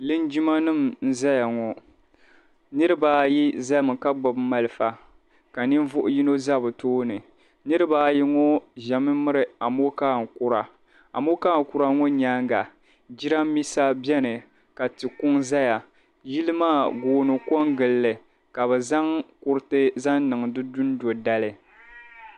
Liŋgimanima n-zaya ŋɔ. Niriba ayi zami ka gbibi malifa ka ninvuɣ' yino za bɛ tooni. Niriba ayi ŋɔ zami miri amɔkaa kura. Amɔkaa kura ŋɔ nyaaŋga jidambiisa beni ka tikuŋ zaya. Yili maa gooni kɔŋgili li ka bɛ zaŋ kuriti zaŋ niŋ di dundo' dali.